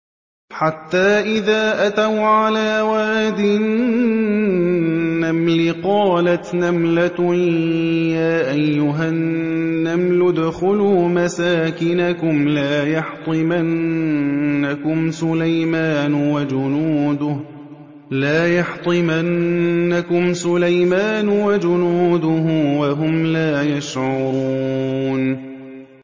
حَتَّىٰ إِذَا أَتَوْا عَلَىٰ وَادِ النَّمْلِ قَالَتْ نَمْلَةٌ يَا أَيُّهَا النَّمْلُ ادْخُلُوا مَسَاكِنَكُمْ لَا يَحْطِمَنَّكُمْ سُلَيْمَانُ وَجُنُودُهُ وَهُمْ لَا يَشْعُرُونَ